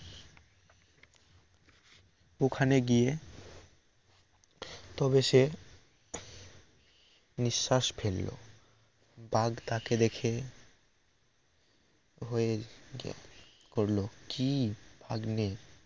ওখানে গিয়ে তবে সে নিশ্বাস ফেলল বাঘ তাকে দেখে হয়ে করল কি ভাগ্নে